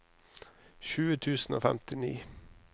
tjue tusen og femtini